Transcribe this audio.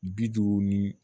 Bi duuru ni